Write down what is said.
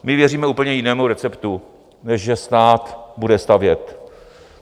My věříme úplně jinému receptu, než že stát bude stavět.